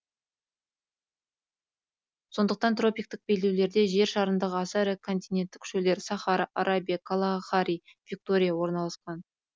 сондықтан тропиктік белдеулерде жер шарындағы аса ірі континенттік шөлдер сахара арабия калахари виктория орналасқан